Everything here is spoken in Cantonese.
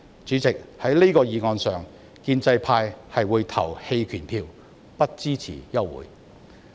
主席，就這項議案，建制派會投棄權票，不支持休會待續。